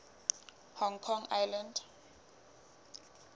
hong kong island